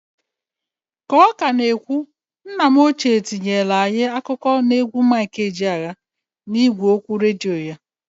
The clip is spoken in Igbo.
K'ọ ka na ekwu nna m ochie tinyelu anyị akụkọ n'egwu Mik Ejeaya, n'igwe okwu redio ya.